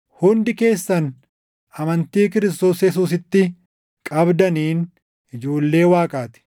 Hundi keessan amantii Kiristoos Yesuusitti qabdaniin ijoollee Waaqaa ti;